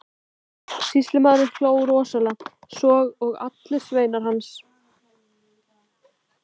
Sýslumaður hló rosalega, svo og sveinar hans allir.